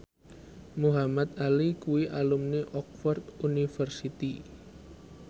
Muhamad Ali kuwi alumni Oxford university